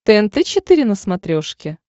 тнт четыре на смотрешке